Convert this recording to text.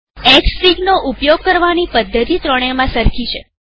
Xfig નો ઉપયોગ કરવાની પદ્ધતિ ત્રણેયમાં સરખી છે